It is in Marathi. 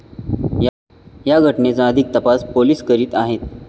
या घटनेचा अधिक तपास पोलिस करीत आहेत.